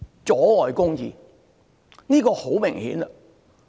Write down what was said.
阻礙公義，這是很明顯的。